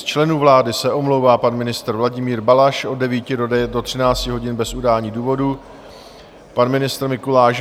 Z členů vlády se omlouvá pan ministr Vladimír Balaš od 9 do 13 hodin bez udání důvodu, pan ministr Mikuláš